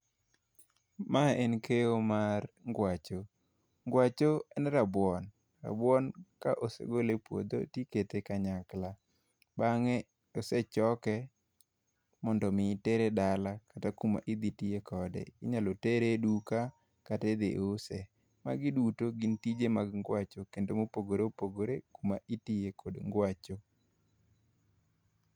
Mae en keyo mar ngwacho, ngwacho en rabuon. Rabuon ka osegole e puodho to ikete kanyakla ,bange ka osechoke mondo mi otere dala kata kuma idhi tiye kode, inyalo tere e duka kata idhi use. Magi duto gin tije mag ngwacho kendo ma opogore opogore kama itiye kod ngwacho